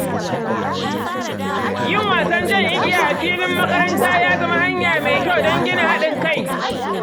Yin wasan jan igiya a filin makaranta ya zama hanya mai kyau don gina haɗin kai.